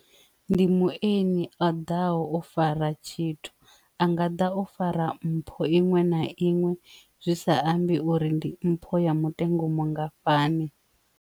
Ndi mueni o ḓaho o fara tshithu anga da o fara mpho iṅwe na iṅwe zwi sa ambi uri ndi mpho ya mutengo umu ngafhani.